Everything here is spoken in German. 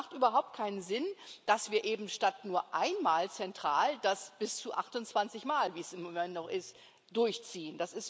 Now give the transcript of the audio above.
Es macht überhaupt keinen Sinn, dass wir eben statt nur einmal zentral das bis zu 28 Mal wie es im Moment noch ist durchziehen.